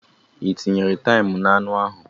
I tinyere taim na-anu a?